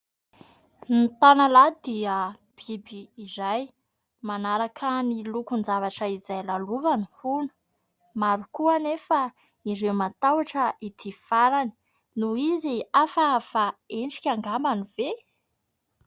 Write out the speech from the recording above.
Ny tanalahy dia biby iray manaraka ny lokon'ny zavatra izay lalovany hono. Maro koa anefa ireo matahotra ity farany noho izy hafahafa endrika angambany ve ?